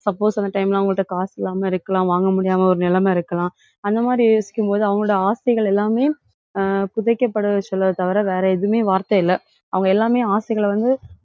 suppose அந்த time ல அவங்க கிட்ட காசு இல்லாம இருக்கலாம் வாங்க முடியாம ஒரு நிலைமை இருக்கலாம். அந்த மாதிரி யோசிக்கும் போது அவங்களோட ஆசைகள் எல்லாமே ஆஹ் புதைக்கப்பட சொல்றதை தவிர வேற எதுவுமே வார்த்தை இல்ல. அவங்க எல்லாமே ஆசைகளை வந்து,